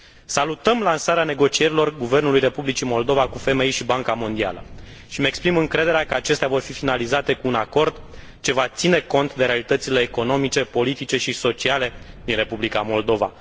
Salutăm lansarea negocierilor guvernului Republicii Moldova cu FMI și Banca Mondială și îmi exprim încrederea că acestea vor fi finalizate cu un acord ce va ține cont de realitățile economice, politice și sociale din Republica Moldova.